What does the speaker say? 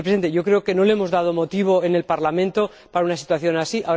Y creo que no le hemos dado motivo en el Parlamento para una situación así.